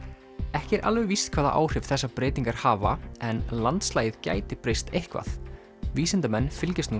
ekki er alveg víst hvaða áhrif þessar breytingar hafa en landslagið gæti breyst eitthvað vísindamenn fylgjast nú